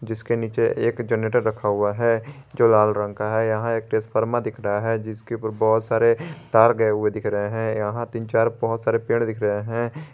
जिसके नीचे एक जनरेटर रखा हुआ है जो लाल रंग का है यहां एक ट्रांसफार्मर दिख रहा हैं जिसके ऊपर बहुत सारे तार गए हुए दिख रहे है यहां तीन चार बहुत सारे पेड़ दिख रहे है।